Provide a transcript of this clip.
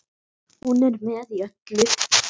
Hún er með í öllu